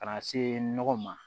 Ka na se nɔgɔ ma